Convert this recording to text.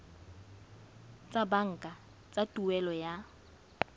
tsa banka tsa tuelo ya